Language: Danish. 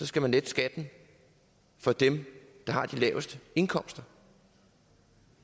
skal man lette skatten for dem der har de laveste indkomster